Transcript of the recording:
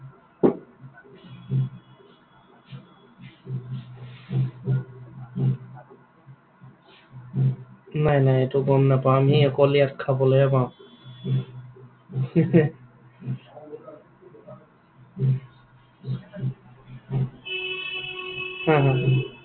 নাই এইটো গম নাপাওঁ আমি অকল ইয়াত খাবলৈহে পাওঁ। হা, হা।